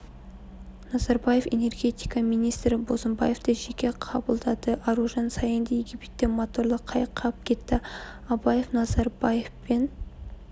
назарбаев энергетика министрі бозымбаевты жеке қабылдады аружан саинды египетте моторлы қайық қағып кетті абаев назарбаев пен